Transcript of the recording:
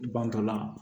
Bantɔla